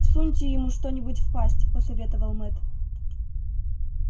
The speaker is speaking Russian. всуньте ему что нибудь в пасть посоветовал мэтт